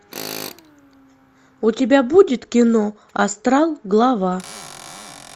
у тебя будет кино астрал глава